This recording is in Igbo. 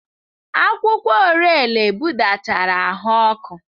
Akwụkwọ Orele budatara ahụ ọkụ.